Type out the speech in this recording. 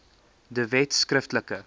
de wet skriftelik